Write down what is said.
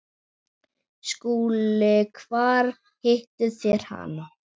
SKÚLI: Hvar hittuð þér hann?